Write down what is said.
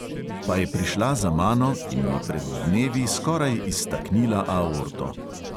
Pa je prišla za mano in mi pred dnevi skoraj iztaknila aorto.